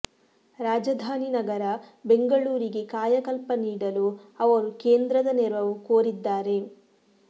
ರಾಜಧಾನಿ ನಗರ ಬೆಂಗಳೂರಿಗೆ ಕಾಯಕಲ್ಪ ನೀಡಲು ಅವರು ಕೇಂದ್ರದ ನೆರವು ಕೋರಿದ್ದಾರೆ